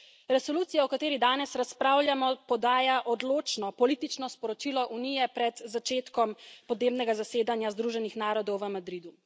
Resolucija, o kateri danes razpravljamo, podaja odločno politično sporočilo Unije pred začetkom podnebnega zasedanja Združenih narodov v Madridu.